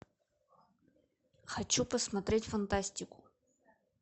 хочу посмотреть фантастику